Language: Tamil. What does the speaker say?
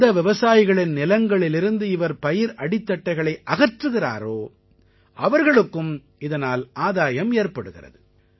எந்த விவசாயிகளின் நிலங்களிலிருந்து இவர் பயிர் அடித்தட்டைகளை அகற்றுகிறாரோ அவர்களுக்கும் இதனால் ஆதாயம் ஏற்படுகிறது